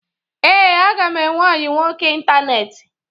Ee, aga m enwe ọyị nwoke ịntaneetị.